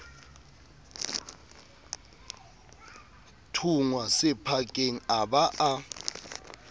thunngwa sephakeng a ba a